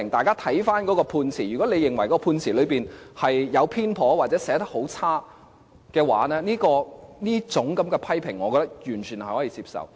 如果有人認為判詞有所偏頗，或是寫得很差的話，這一種批評，我認為完全是可以接受的。